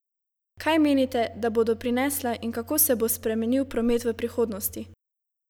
Kaj menite, da bodo prinesla in kako se bo spremenil promet v prihodnosti?